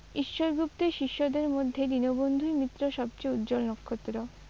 ঈশ্বর গুপ্তের শিষ্যদের মধ্যে দীনবন্ধুই মিত্র সবচেয়ে উজ্জ্বল নক্ষত্র।